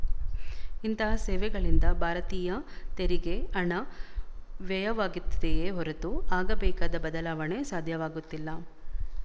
ಇಂಥ ಸೇವೆಗಳಿಂದ ಭಾರತೀಯರ ತೆರಿಗೆ ಹಣ ವ್ಯಯವಾಗಿತ್ತಿದೆಯೇ ಹೊರತು ಆಗಬೇಕಾದ ಬದಲಾವಣೆ ಸಾಧ್ಯವಾಗುತ್ತಿಲ್ಲ